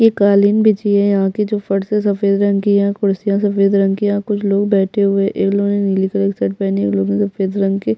एक कालीन बिछी है यहाँ की जो फर्श है सफेद रंग की है यहाँ कुर्सियां सफेद रंग की है यहाँ कुछ लोग बैठे हुए है एक लोग ने नीले कलर की शर्ट पहनी एक ने सफेद रंग की --